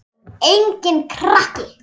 Og enginn krakki!